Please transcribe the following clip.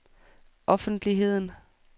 offentligheden